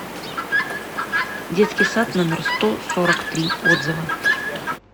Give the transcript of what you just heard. детский сад номер сто сорок три отзывы